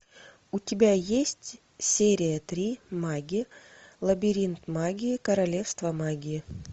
у тебя есть серия три маги лабиринт магии королевство магии